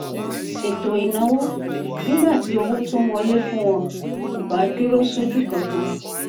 ṣètò ìnáwó nígbà tí owó tó ń wọlé fún wọn kò bá dúró sójú kan kan